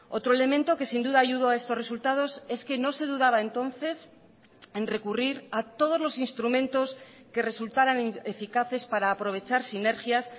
otro elemento que sin duda ayudó a estos resultados es que no se dudaba entonces en recurrir a todos los instrumentos que resultarán eficaces para aprovechar sinergias